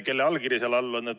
Kelle allkiri seal all on?